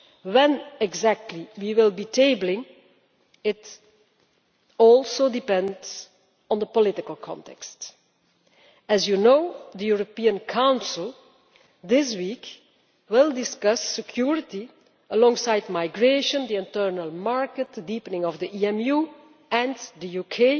When exactly we will be tabling it also depends on the political context. As you know, the European Council will this week discuss security alongside migration, the internal market, the deepening of the EMU and the